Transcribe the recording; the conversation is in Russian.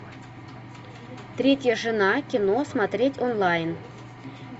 третья жена кино смотреть онлайн